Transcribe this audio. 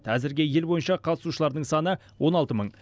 әзірге ел бойынша қатысушылардың саны он алты мың